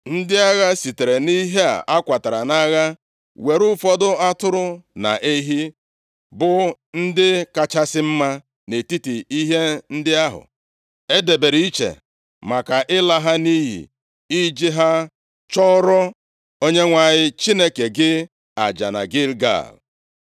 Ndị agha sitere nʼihe a kwatara nʼagha were ụfọdụ atụrụ na ehi, bụ ndị kachasị mma nʼetiti ihe ndị ahụ e debere iche maka ịla ha nʼiyi, iji ha chụọrọ Onyenwe anyị Chineke gị aja na Gilgal.”